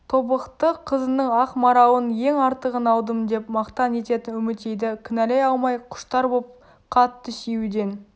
тобықты қызының ақ маралын ең артығын алдым деп мақтан ететін үмітейді кінәлай алмай құштар боп қатты сүюден